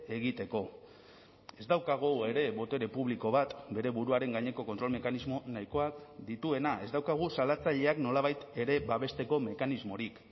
egiteko ez daukagu ere botere publiko bat bere buruaren gaineko kontrol mekanismo nahikoak dituena ez daukagu salatzaileak nolabait ere babesteko mekanismorik